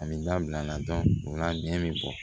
A bɛ n da bila a la o la nɛn bɛ bɔ